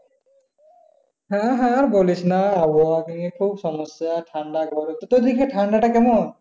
হ্যাঁ হ্যাঁ বলিসনা আবহাওয়া নিয়ে খুব সমস্যা ঠাণ্ডা গরম। তুদের এই দিক দিয়ে ঠান্ডাটা কেমন?